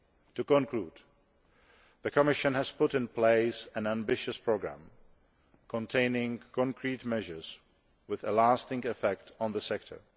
To conclude, the Commission has put in place an ambitious programme containing concrete measures with a lasting effect on the sector.